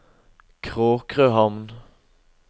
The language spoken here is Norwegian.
Kråkrøhamn